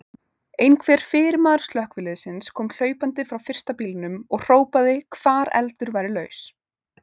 Einhver fyrirmaður slökkviliðsins kom hlaupandi frá fyrsta bílnum og hrópaði hvar eldur væri laus.